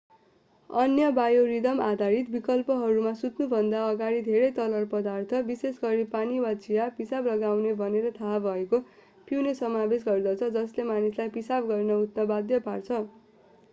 अन्य बायोरिदम-आधारित विकल्पहरूमा सुत्नुभन्दा अगाडि धेरै तरल पदार्थ विशेषगरी पानी वा चिया पिसाब लगाउने भनेर थाहा भएको पिउने समावेश गर्दछ जसले मानिसलाई पिसाब गर्न उठ्न बाध्य पार्छ।